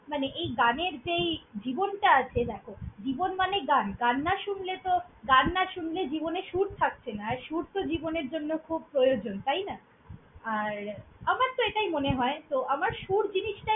মানে এই গানের যে এই জীবনটা আছে দ্যাখো! জীবন মানে গান, গান না শুনলে তো গান না শুনলে জীবনের সুর থাকছে না আর সুর তো জীবনের জন্য খুব প্রয়োজন, তাই না! আর আমার তো এটাই মনে হয় তো আমার সুর জিনিসটা।